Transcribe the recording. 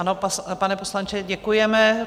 Ano, pane poslanče, děkujeme.